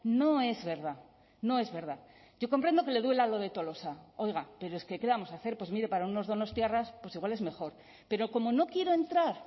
no es verdad no es verdad yo comprendo que le duela lo de tolosa oiga pero es que qué le vamos a hacer pues mire para unos donostiarras pues igual es mejor pero como no quiero entrar